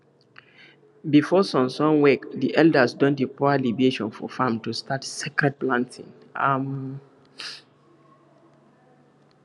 before sun sun wake di elders don dey pour libation for farm to start sacred planting um